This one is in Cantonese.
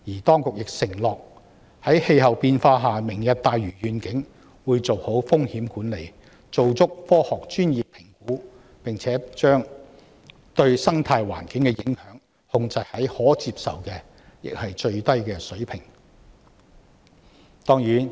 當局承諾在氣候變化下，會就"明日大嶼願景"妥善進行風險管理及科學專業評估，並把對生態環境的影響控制在可接受且最低的水平。